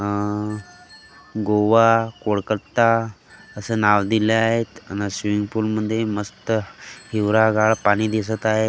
अं गोवा कोलकत्ता असं नाव दिलं आहेत अन् स्विमिंग पूल मध्ये मस्त हिवरागाळ पाणी दिसत आहे.